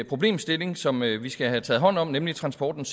problemstilling som vi virkelig skal have taget hånd om nemlig transportens